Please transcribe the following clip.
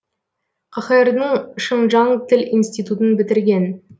қхр дың шыңжаң тіл институтын бітірген